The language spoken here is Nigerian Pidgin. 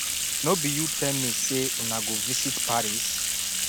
no be you tell me say una go visit paris